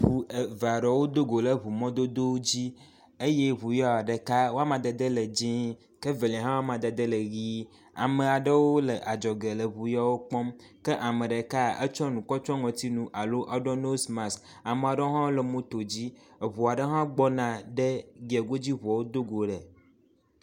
Ŋu eve aɖewo do go le ŋu mɔdodo dzi eye ŋu ya ɖeka, wo amadede le dzɛ̃ ke evelia hã wo amadede le ʋɛ̃e. amea ɖewo le adzɔge le ŋu yewo kpɔm, kea me ɖeka, etsɔ nu kɔ tsyɔ ŋɔtinu alo eɖɔ nosmas, amea ɖewo hã le moto dzi. Eŋu aɖe hã gbɔna ɖe giye go dzi eŋuwo do go le.